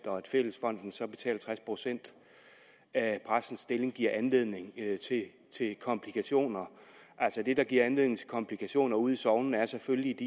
og fællesfonden så betaler tres procent af præstens stilling giver anledning til komplikationer det der giver anledning til komplikationer ude i sognene er selvfølgelig